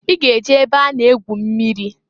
I g'e je ebe a na egwu mmiri!